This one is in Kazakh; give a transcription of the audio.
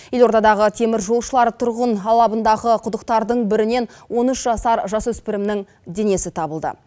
елордадағы теміржолшылар тұрғын алабындағы құдықтардың бірінен он үш жасар жасөспірімнің денесі табылды